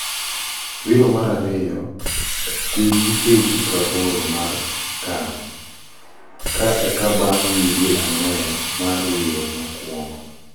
Wiro marariyo tim gi KG prabor mar CAN ka eka bang wige angwen mar wiro mokwongo.